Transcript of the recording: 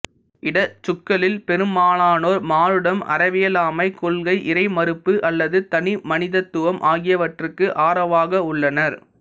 இடச்சுக்களில் பெருமாலானோர் மானுடம் அறியவியலாமைக் கொள்கை இறைமறுப்பு அல்லது தனிமனிதத்துவம் ஆகியவற்றுக்கு ஆரவாக உள்ளனர்